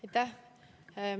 Aitäh!